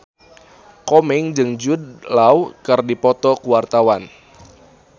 Komeng jeung Jude Law keur dipoto ku wartawan